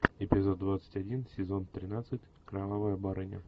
эпизод двадцать один сезон тринадцать кровавая барыня